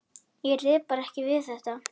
Ég réði bara ekki við þetta.